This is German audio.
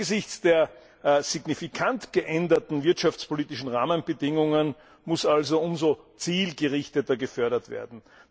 Angesichts der signifikant geänderten wirtschaftspolitischen Rahmenbedingungen muss also umso zielgerichteter gefördert werden.